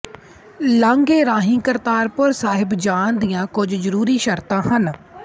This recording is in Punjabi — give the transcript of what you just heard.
ਲਾਾਂਘੇ ਰਾਹੀਂ ਕਰਤਾਰਪੁਰ ਸਾਹਿਬ ਜਾਣ ਦੀਆਂ ਕੁਝ ਜਰੂਰੀ ਸ਼ਰਤਾਂ ਹਨ